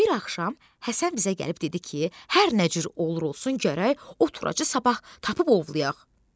Bir axşam Həsən bizə gəlib dedi ki, hər nə cür olur olsun gərək o turacı sabah tapıb ovlayaq.